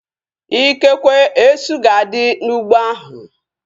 Ikekwe, esu ga-adị n'ụgbọ ahu